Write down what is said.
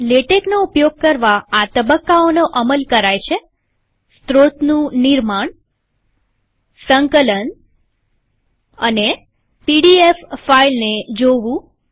લેટેકનો ઉપયોગ કરવાઆ તબક્કાઓનો અમલ કરાય છેસ્ત્રોતનું નિર્માણસંકલન અને પીડીએફ ફાઈલને જોવું